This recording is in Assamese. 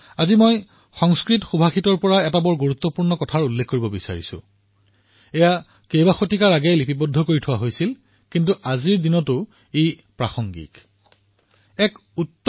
আজি মই সংস্কৃত সুভাষিতৰ এক গুৰুত্বপূৰ্ণ কথা কব হিচাৰো যি শতিকাপূৰ্বে লিখা হৈছিল কিন্তু আজিও ইয়াৰ প্ৰাসংগিকতা আছে